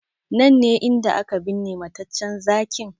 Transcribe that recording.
Nan ne inda aka binne mataccen Zakin?